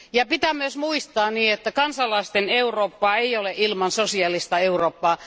Pitää myös muistaa, että kansalaisten Eurooppaa ei ole ilman sosiaalista Eurooppaa.